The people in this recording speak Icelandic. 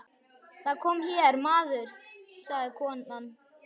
Það kom hér maður, sagði þá konan.